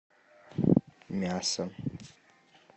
мясо